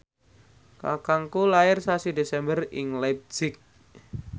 kakangku lair sasi Desember ing leipzig